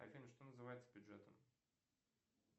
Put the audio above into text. афина что называется бюджетом